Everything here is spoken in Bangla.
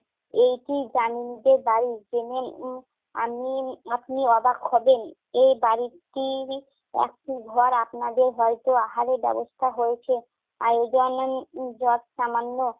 এইটি দামিনীদের বাড়ি। জেনে উম আমি~ উম আপনি অবাক হবেন। এই বাড়িটির একটি ঘর আপনাদের হয়ত আহারের ব্যবস্থা হয়েছে। আর এই জন্য যতসামান্য